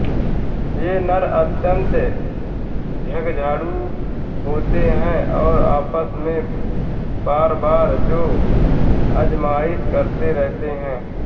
ये नर अत्यन्त झगड़ालू होते हैं और आपस में बारबार जोर आजमाइश करते रहते हैं